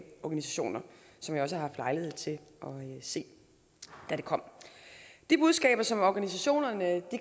organisationer som jeg også har haft lejlighed til at se da det kom de budskaber som organisationerne